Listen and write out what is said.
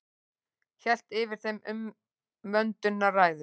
Hélt yfir þeim umvöndunarræður.